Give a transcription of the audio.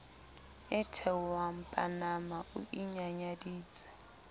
e theohang panama o inyanyaditse